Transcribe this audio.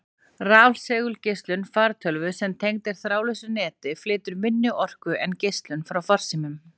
Rafsegulgeislun fartölvu sem tengd er þráðlausu neti, flytur minni orku en geislun frá farsímum.